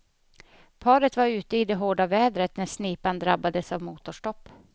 Paret var ute i det hårda vädret när snipan drabbades av motorstopp.